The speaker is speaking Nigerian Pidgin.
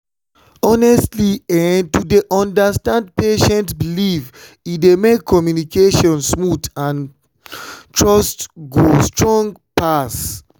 honestly[um]to dey understand patient belief e dey make communication smooth and trust go strong pass.